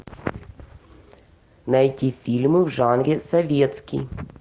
найти фильмы в жанре советский